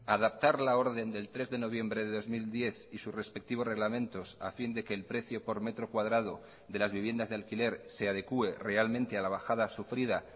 adaptar la orden del tres de noviembre de dos mil diez y sus respectivos reglamentos a fin de que el precio por metro cuadrado de las viviendas de alquiler se adecue realmente a la bajada sufrida